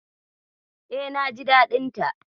E, naji daɗin ta.